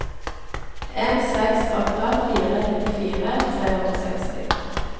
en seks åtte fire nittifire tre hundre og seksti